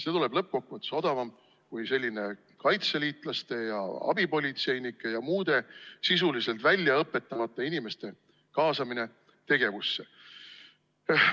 See tuleb lõppkokkuvõttes odavam kui selline kaitseliitlaste ja abipolitseinike ja muude sisuliselt väljaõpetamata inimeste tegevusse kaasamine.